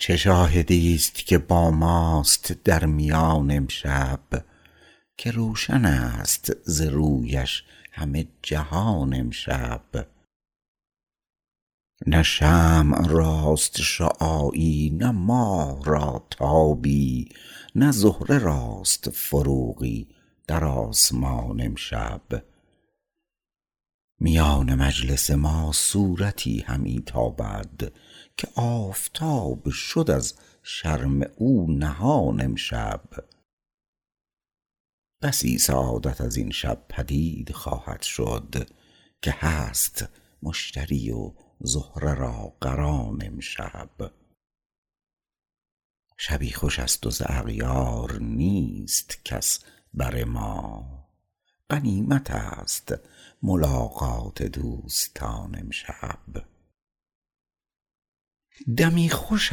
چه شاهدی است که با ماست در میان امشب که روشن است ز رویش همه جهان امشب نه شمع راست شعاعی نه ماه را تابی نه زهره راست فروغی در آسمان امشب میان مجلس ما صورتی همی تابد که آفتاب شد از شرم او نهان امشب بسی سعادت از این شب پدید خواهد شد که هست مشتری و زهره را قران امشب شبی خوش است و ز اغیار نیست کس بر ما غنیمت است ملاقات دوستان امشب دمی خوش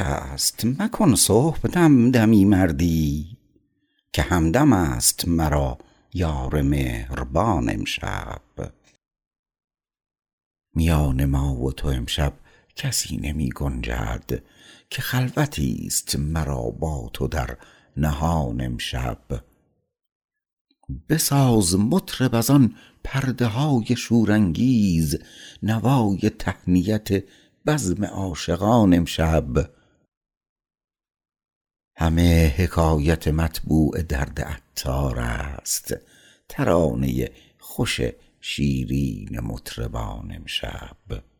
است مکن صبح دم دمی سردی که همدم است مرا یار مهربان امشب میان ما و تو امشب کسی نمی گنجد که خلوتی است مرا با تو در نهان امشب بساز مطرب از آن پرده های شور انگیز نوای تهنیت بزم عاشقان امشب همه حکایت مطبوع درد عطار است ترانه خوش شیرین مطربان امشب